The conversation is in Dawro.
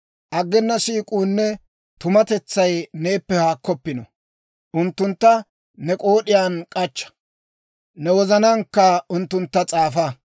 Aggena siik'uunne tumatetsay neeppe haakkoppino; unttuntta ne k'ood'iyaan k'achcha; ne wozanaankka unttuntta s'aafa.